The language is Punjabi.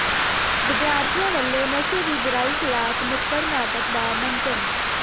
ਵਿਦਿਆਰਥੀਆਂ ਵਲੋਂ ਨਸ਼ੇ ਦੀ ਬੁਰਾਈ ਿਖ਼ਲਾਫ਼ ਨੁੱਕੜ ਨਾਟਕ ਦਾ ਮੰਚਨ